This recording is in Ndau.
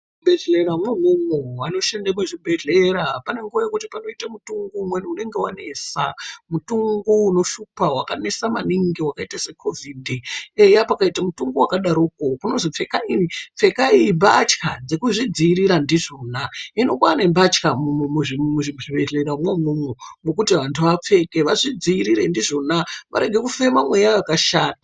Muzvibhehlera mwo imwo, anoshande muzvibhehlera panenguwa yekuti panoite mutungo umweni unonga wanesa mutungo unoshupa ,wakanesa mainingi wakaite se COvid ,eya pakaite mutungo wakadaroko kunozi pfekai mbatya dzekuzvidziirira ndizvona hino kwaane mbatya muzvibhehlera mwo imwomwo yekuti vanhu vapfeke vareke kupfeka mweya wakashata.